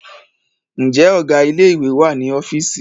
Ǹjẹ́ Ọ̀gá ilé ìwé wà ní ọ́fíìsì?